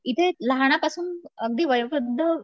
इथे लहानांपासून अगदी वयोवृद्ध